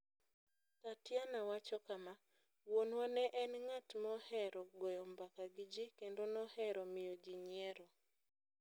Tatiana wacho kama: "Wuonwa ne en ng'at mohero goyo mbaka gi ji kendo nohero miyo ji nyiero.